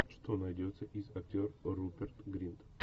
что найдется из актер руперт гринт